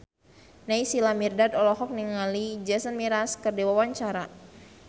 Naysila Mirdad olohok ningali Jason Mraz keur diwawancara